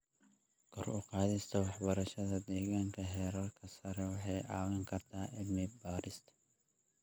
Kor u qaadista waxbarashada deegaanka heerarka sare waxay caawin kartaa cilmi baarista.